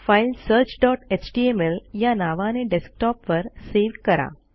file searchएचटीएमएल या नावाने डेस्कटॉपवर सेव्ह करा